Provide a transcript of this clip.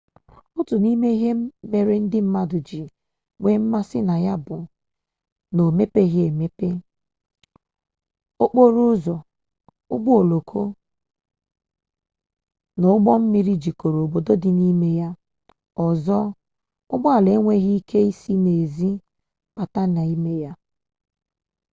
otu n'ime ihe mere ndị mmadụ ji nwee mmasi na ya bu na o mepebeghi emepe okporo ụzọ ụgbọ oloko na ụgbọ mmiri jikọrọ obodo ndị dị na ya ọzọ ụgbọala enweghị ike isi n'ezi bata ya n'ime